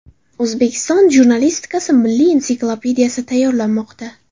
O‘zbekiston jurnalistikasi milliy ensiklopediyasi tayyorlanmoqda.